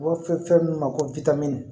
U b'a fɔ fɛn min ma ko w witamini